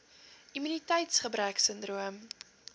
immuniteits gebrek sindroom